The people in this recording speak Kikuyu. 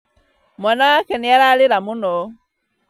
Mwana wake nĩararĩra mũno